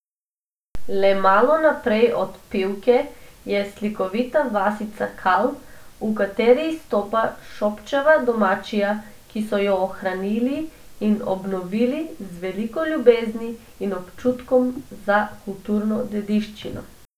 Le malo naprej od Pivke je slikovita vasica Kal, v kateri izstopa Šobčeva domačija, ki so jo ohranili in obnovili z veliko ljubezni in občutkom za kulturno dediščino.